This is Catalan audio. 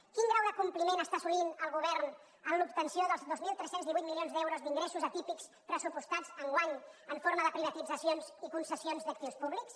quin grau de compliment està assolint el govern en l’obtenció dels dos mil tres cents i divuit milions d’euros d’ingressos atípics pressupostats enguany en forma de privatitzacions i concessions d’actius públics